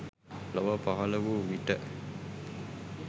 ලොව පහළ වූ විට